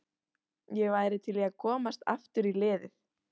Ég væri til í að komast aftur í liðið.